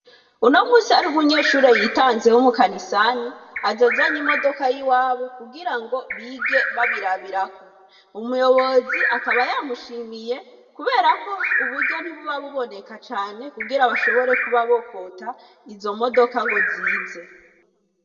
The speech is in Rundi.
Uno munsi hari umunyeshure yitanze w'umukanisani, aza azanye imodoka yi wabo kugirango bige bayirabirako, umuyobozi akaba yamushimiye kuberako uburyo ntibuba buboneka cane, kugira bashobore kuba bokota izo modoka ngo zize.